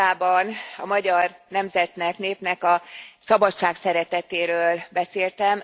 A vitában a magyar nemzetnek, népnek a szabadságszeretetéről beszéltem.